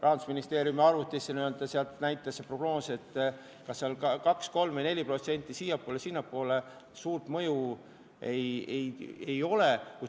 Rahandusministeeriumi arvutis tehtud prognoos näitas vahet 2, 3 või 4% siiapoole või sinnapoole.